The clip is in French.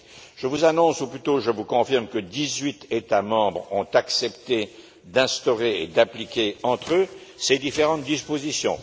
Je vous annonce, ou plutôt, je vous confirme que dix huit États membres ont accepté d'instaurer et d'appliquer entre eux ces différentes dispositions.